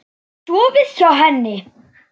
Hef ég sofið hjá henni?